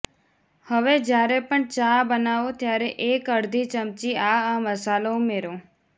હવે જ્યારે પણ ચા બનાવો ત્યારે એક અડધી ચમચી આ આ મસાલો ઉમેરો